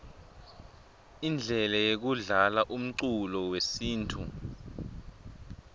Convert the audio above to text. indlele yekudlalaumculo wesintfu